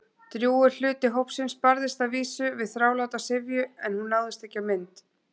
Drjúgur hluti hópsins barðist að vísu við þráláta syfju- en hún náðist ekki á mynd.